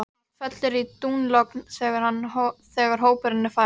Allt fellur í dúnalogn þegar hópurinn er farinn.